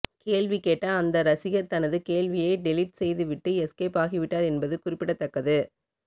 கேள்வி கேட்ட அந்த ரசிகர் தனது கேள்வியை டெலிட் செய்துவிட்டு எஸ்கேப் ஆகிவிட்டார் என்பது குறிப்பிடத்தக்கது